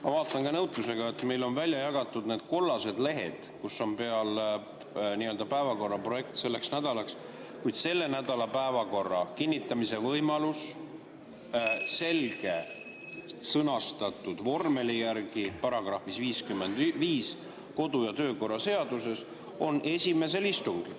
Ma vaatan ka nõutusega, et meile on välja jagatud need kollased lehed, kus on peal päevakorra projekt selleks nädalaks, kuid nädala päevakorra kinnitamise võimalus on kodu‑ ja töökorra seaduse §‑s 55 selgelt sõnastatud vormeli järgi esimesel istungil.